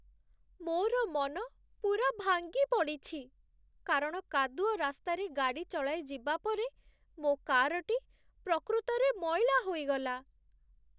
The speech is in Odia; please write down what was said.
ମୋର ମନ ପୂରା ଭାଙ୍ଗିପଡ଼ିଛି, କାରଣ କାଦୁଅ ରାସ୍ତାରେ ଗାଡ଼ି ଚଳାଇ ଯିବା ପରେ ମୋ କାର୍‌ଟି ପ୍ରକୃତରେ ମଇଳା ହୋଇଗଲା।